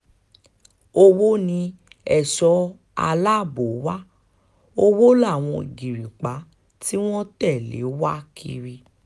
owó ni èso aláàbò wa owó láwọn ìgìrìpá tí wọ́n tẹ̀lé wa kiri